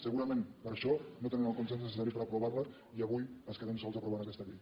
segurament per això no tenen el consens necessari per aprovar la i avui es queden sols aprovant aquesta llei